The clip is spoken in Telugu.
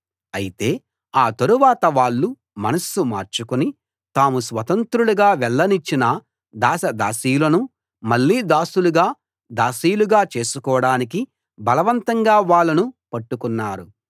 అయితే ఆ తరువాత వాళ్ళు మనస్సు మార్చుకుని తాము స్వతంత్రులుగా వెళ్ళనిచ్చిన దాసదాసీలను మళ్ళీ దాసులుగా దాసీలుగా చేసుకోడానికి బలవంతంగా వాళ్ళను పట్టుకున్నారు